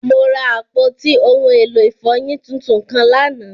Mo ra apọti ohun elo ifọyin títún kan lánà.